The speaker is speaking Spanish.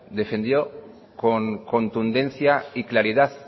defendió con contundencia y claridad